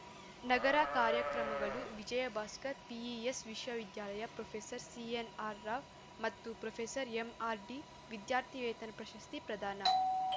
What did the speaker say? ನಗರ ಕಾರ್ಯಕ್ರಮಗಳು ವಿಜಯ್‌ಭಾಸ್ಕರ್‌ ಪಿಇಎಸ್‌ ವಿಶ್ವವಿದ್ಯಾಲಯ ಪ್ರೊಫೆಸರ್ ಸಿಎನ್‌ಆರ್‌ರಾವ್‌ ಮತ್ತು ಪ್ರೊಎಂಆರ್‌ಡಿ ವಿದ್ಯಾರ್ಥಿವೇತನ ಪ್ರಶಸ್ತಿ ಪ್ರದಾನ